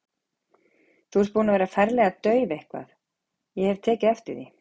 Þú ert búin að vera ferlega dauf eitthvað, ég hef tekið eftir því.